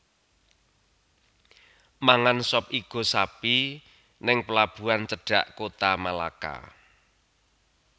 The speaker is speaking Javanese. Mangan sop igo sapi ning pelabuhan cedhak Kota Malaka